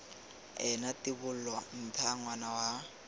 ena tibola ntha ngwana wa